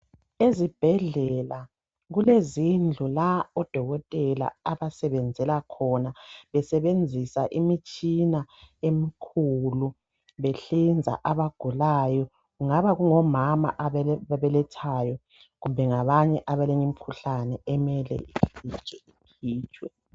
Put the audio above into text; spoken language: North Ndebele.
Ezibhedlela kulezindlu la odokotela abasebenzela khona besebenzisa imitshina emikhulu behlinza abagulayo kungaba kungomama ababelethayo kumbe ngabanye abalemikhuhlane emele ivitshwe ivinjwe.